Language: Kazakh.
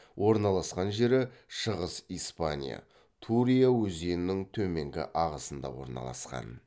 орналасқан жері шығыс испания турия өзенінің төменгі ағысында орналасқан